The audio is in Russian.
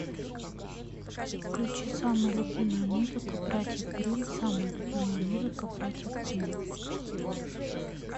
включи самая любимая музыка братьев грим самая любимая музыка братьев гримм